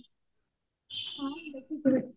ହଁ ଦେଖିଛି